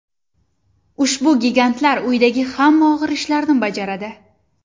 Ushbu gigantlar uydagi hamma og‘ir ishlarni bajaradi.